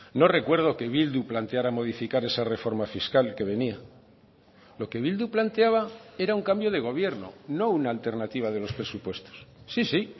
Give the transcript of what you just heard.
no recuerdo que bildu planteara modificar esa reforma fiscal que venía lo que bildu planteaba era un cambio de gobierno no una alternativa de los presupuestos sí sí